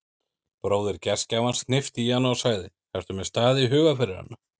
Bróðir gestgjafans hnippti í hana og sagði: ertu með stað í huga fyrir hana?